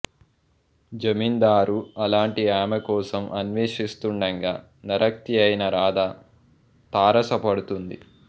జమీందారు అలాంటి ఆమె కోసం అన్వేషిస్తుండగా నర్తకియైన రాధ తారసపడుతుంది